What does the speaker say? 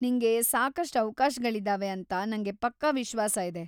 ನಿಂಗೆ ಸಾಕಷ್ಟ್ ಅವ್ಕಾಶಗಳಿದಾವೆ ಅಂತ ನಂಗೆ ಪಕ್ಕಾ ವಿಶ್ವಾಸ ಇದೆ.